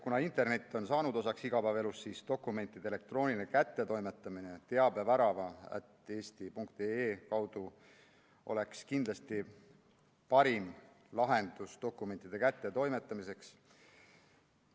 Kuna internet on saanud osaks igapäevaelust, siis dokumentide elektrooniline kättetoimetamine teabevärava @eesti.ee kaudu oleks kindlasti parim lahendus dokumentide kättetoimetamiseks.